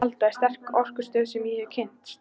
Frú Alda er sterkasta orkustöð sem ég hef kynnst.